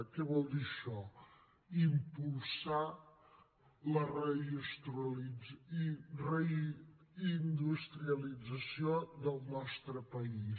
què vol dir això impulsar la reindustrialització del nostre país